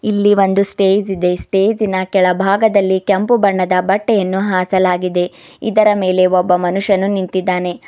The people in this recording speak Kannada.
ಇಲ್ಲಿ ಒಂದು ಸ್ಟೇಜ್ ಇದೆ ಸ್ಟೇಜ್ ಇನ ಕೆಳಭಾಗದಲ್ಲಿ ಕೆಂಪು ಬಣ್ಣದ ಬಟ್ಟೆಯನ್ನು ಹಾಸಲಾಗಿದೆ ಇದರ ಮೇಲೆ ಒಬ್ಬ ಮನುಷ್ಯನು ನಿಂತಿದ್ದಾನೆ.